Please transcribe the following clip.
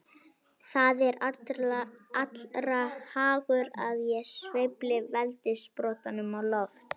Það er allra hagur að ég sveifli veldissprotanum á loft.